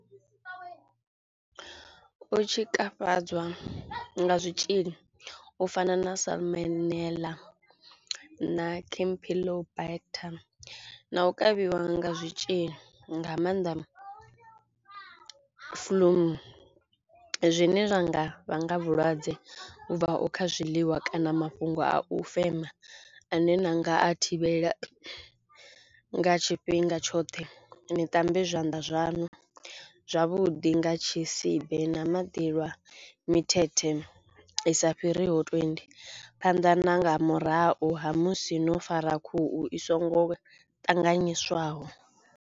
U tshikafhadzwa nga zwitzhili u fana na salmonella na campylobacter na u kavhiwa nga zwitzhili nga mannḓa flu zwine zwa nga vhanga vhulwadze vhu bvaho kha zwiḽiwa kana mafhungo a u fema ane na nga a thivhela nga tshifhinga tshoṱhe, ni ṱambe zwanḓa zwaṋu zwavhuḓi nga tshisibe na maḓi lwa mithethe i sa fhiri ho twenty phanḓa na nga murahu ha musi no fara khuhu i songo ṱanganyiswaho.